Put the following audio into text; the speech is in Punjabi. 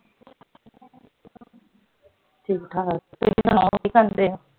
ਠੀਕ ਠਾਕ